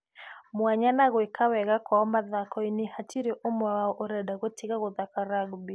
Mwanya na gweka wega kwao mathomo-inĩ, hatĩrĩ ũmwe wao ũrenda gũtiga gũthaka rugby.